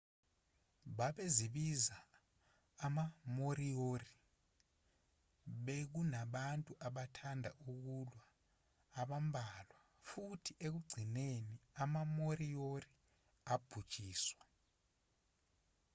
babezibiza ama-moriori bekunabantu abathanda ukulwa abambalwa futhi ekugcineni ama-moriori abhujiswa